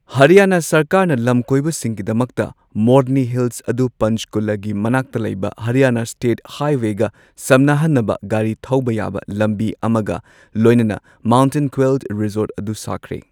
ꯍꯔꯤꯌꯥꯅꯥ ꯁꯔꯀꯥꯔꯅ ꯂꯝꯀꯣꯏꯕꯁꯤꯡꯒꯤꯗꯃꯛꯇ ꯃꯣꯔꯅꯤ ꯍꯤꯜꯁ ꯑꯗꯨ ꯄꯟꯆꯀꯨꯂꯥꯒꯤ ꯃꯅꯥꯛꯇ ꯂꯩꯕ ꯍꯔꯤꯌꯥꯅꯥ ꯁ꯭ꯇꯦꯠ ꯍꯥꯏꯋꯦꯒ ꯁꯝꯅꯍꯟꯅꯕ ꯒꯥꯔꯤ ꯊꯧꯕ ꯌꯥꯕ ꯂꯝꯕꯤ ꯑꯃꯒ ꯂꯣꯏꯅꯅ ꯃꯥꯎꯟꯇꯦꯟ ꯀ꯭ꯋꯦꯜ ꯔꯤꯖꯣꯔꯠ ꯑꯗꯨ ꯁꯥꯈ꯭ꯔꯦ꯫